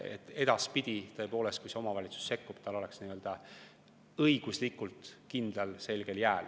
Et edaspidi, kui omavalitsus sekkub, ta oleks õiguslikult kindlal jääl.